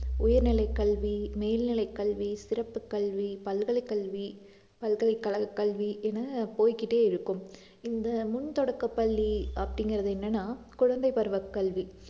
உயர்நிலைக் கல்வி, மேல்நிலைக் கல்வி, சிறப்புக் கல்வி, பல்கலைக் கல்வி, பல்கலைக்கழகக் கல்வி என போய்க்கிட்டே இருக்கும் இந்த முன் தொடக்கப்பள்ளி அப்படிங்கிறது என்னன்னா குழந்தை பருவக் கல்வி